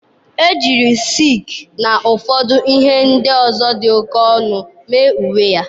Ejiri silk na ụfọdụ ihe ndị ọzọ dị oke ọnụ mee uwe ya.